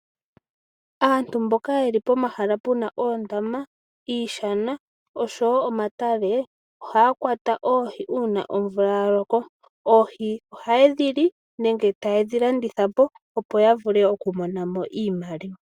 Aantu mboka yeli pomahala puna oondama, iishana oshowo omatale ohaya kwata oohi uuna omvula ya loko. Oohi ohaye dhi li nenge taye dhi landitha po opo ya vule oku monamo iimaliwa.